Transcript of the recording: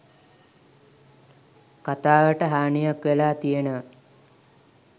කතාවට හානියක් වෙලා තියෙනවා